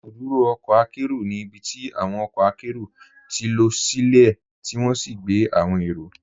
Ibùdúrò ọ̀kọ̀ àkẹro ní ibítí awọn ọ̀kọ̀ àkẹro tí lọ silẹ̀ tí wọn sì gbẹ̀ awọn èró.